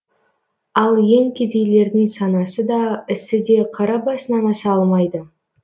ал ең кедейлердің санасы да ісі де қара басынан аса алмайды